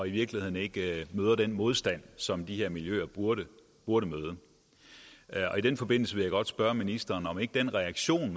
i virkeligheden ikke møder den modstand som de her miljøer burde møde og i den forbindelse vil jeg godt spørge ministeren om den reaktion